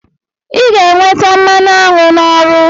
I ga-enweta mmanụ aṅụ n'ọrụ.